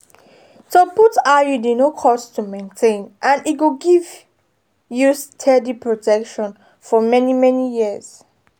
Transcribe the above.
to put iud no cost to maintain and e go give you steady protection for many-many years.